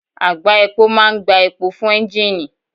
Àgbá epo máa ń gbá epo fún ẹ́ńgìnì